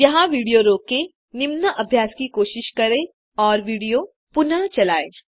यहाँ विडियो रोकें निम्न अभ्यास की कोशिश करें और विडियो पुनः चलायें